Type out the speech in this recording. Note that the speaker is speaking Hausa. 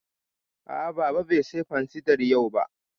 A'a, Baba bai saya fansidar yau ba